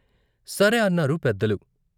సరే అన్నారు పెద్దలు.